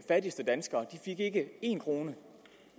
fattigste danskere ikke en krone